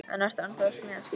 En ertu ennþá að smíða skip?